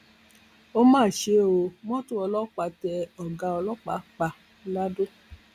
ó ó mà ṣe ó mọtò ọlọpàá tẹ ọgá ọlọpàá pa ladọ